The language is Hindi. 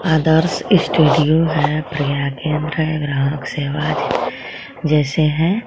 आदर्श स्टूडियो हे प्रज्ञा केंद्र हे ग्राहक सेवा जैसे हे.